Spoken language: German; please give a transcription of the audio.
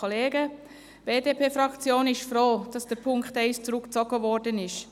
Die BDP-Fraktion ist froh, dass der Punkt 1 zurückgezogen worden ist.